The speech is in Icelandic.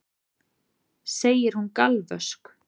segir hún galvösk.